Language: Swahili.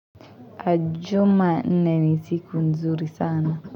Jumanne ni siku nzuri sana.